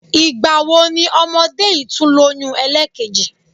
Ìgbà wo ni ọmọdé yìí tún lóyún ẹlẹ́ẹ̀kejì?